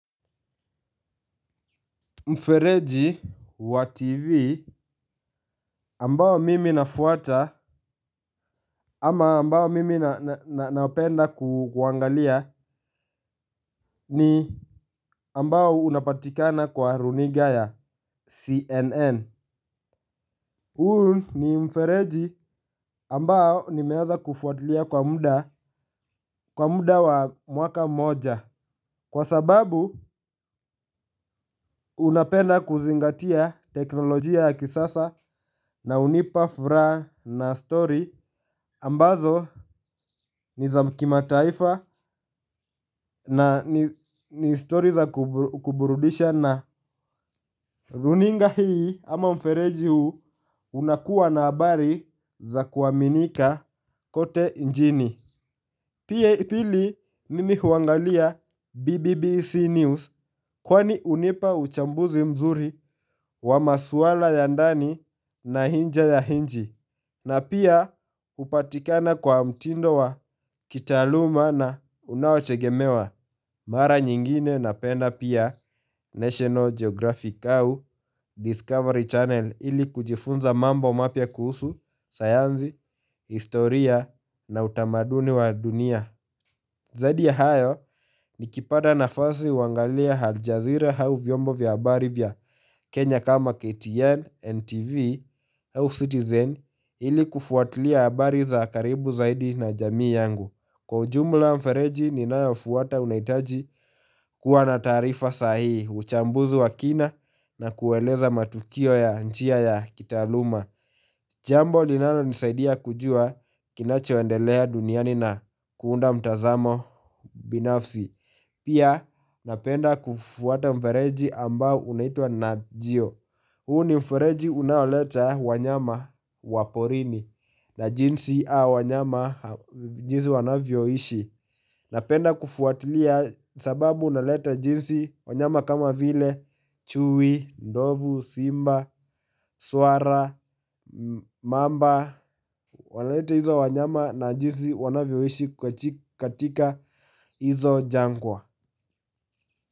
Mfereji wa TV ambao mimi nafuata ama ambao mimi naopenda kuangalia ni ambao unapatikana kwa runinga ya CNN. Huu ni mfereji ambao nimeanza kufuatilia kwa muda wa mwaka moja kwa sababu unapenda kuzingatia teknolojia ya kisasa na hunipa furaha na stori ambazo niza kimataifa na ni stori za kuburudisha na runinga hii ama mfereji huu unakuwa na habari za kuaminika kote inchini. Pia ya pili nimi huangalia BBBC News kwani hunipa uchambuzi mzuri wa maswala ya ndani na nje ya inchi. Na pia hupatikana kwa mtindo wa kitaaluma na unaotegemewa mara nyingine na penda pia National Geographic au Discovery Channel ili kujifunza mambo mapya kuhusu, sayansi, historia na utamaduni wa dunia. Zaidi ya hayo ni kipata nafasi huangalia aljazira au vyombo vya habari vya Kenya kama KTN, NTV, au Citizen ili kufuatlia habari za karibu zaidi na jamii yangu. Kwa ujumla mfereji ninayo fuata unahitaji kuwa na taarifa sahihi, uchambuzi wa kina na kueleza matukio ya njia ya kitaaluma. Jambo linalo nisaidia kujua kinacho endelea duniani na kuunda mtazamo binafsi. Pia napenda kufuata mfereji ambao unaitwa Najio. Huu ni mfereji unaoleta wanyama wa porini na jinsi hao wanyama jinsi wanavyo ishi. Napenda kufuatilia sababu unaleta jinsi wanyama kama vile, chui, ndovu, simba, swara, mamba, wanaleta hizo wanyama na jinsi wanavyoishi katika hizo jangwa.